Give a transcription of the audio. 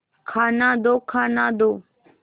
खाना दो खाना दो